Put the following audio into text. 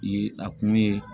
Ye a kun ye